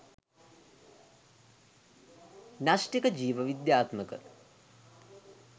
න්‍යෂ්ඨික ජීව විද්‍යාත්මක